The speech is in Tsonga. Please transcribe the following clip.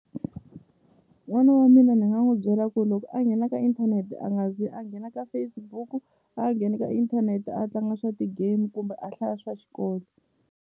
N'wana wa mina ni nga n'wi byela ku loko a nghena ka inthanete a nga zi a nghena ka Facebook a nghene ka inthanete a tlanga swa ti-game kumbe a hlaya swa xikolo.